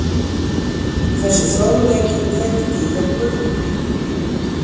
Þessi fróðleikur kveikti í okkur.